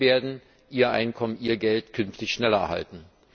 Sie werden ihr Einkommen, ihr Geld, künftig schneller erhalten.